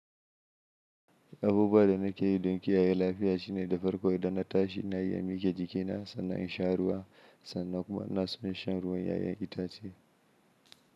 Abubuwa da nake yi don kiyaye lafiya shine da farko idan na tashi nayi in mike jikina, sannan in sha ruwa sannan kuma inaso in sha ruwan 'ya'yan itace.